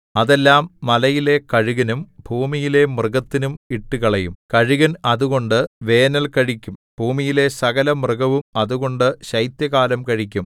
അതെല്ലാം മലയിലെ കഴുകനും ഭൂമിയിലെ മൃഗത്തിനും ഇട്ടുകളയും കഴുകൻ അതുകൊണ്ട് വേനൽ കഴിക്കും ഭൂമിയിലെ സകലമൃഗവും അതുകൊണ്ട് ശൈത്യകാലം കഴിക്കും